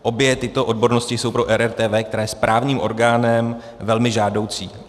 Obě tyto odbornosti jsou pro RRTV, která je správním orgánem, velmi žádoucí.